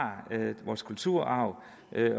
vores kulturarv